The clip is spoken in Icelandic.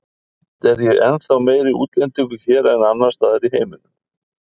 Samt er ég ennþá meiri útlendingur hér en annars staðar í heiminum.